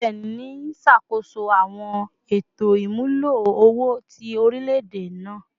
CBN n ṣakoso awọn eto imulo owo ti orilẹ-ede naa